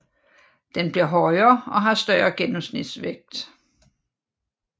Den bliver højere og har større gennemsnitsvægt